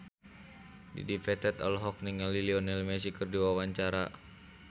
Dedi Petet olohok ningali Lionel Messi keur diwawancara